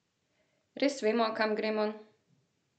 Res vemo, kam gremo?